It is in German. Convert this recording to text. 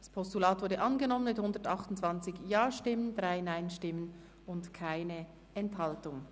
Das Postulat ist angenommen worden mit 128 Ja- gegen 3 Nein-Stimmen bei 0 Enthaltungen.